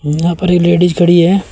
यहां पर एक लेडिस खड़ी है।